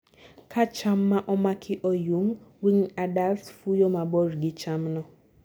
kaa cham ma omaki oyung, winged adults fuyo mabor gi chamno